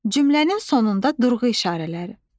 Cümlənin sonunda durğu işarələri.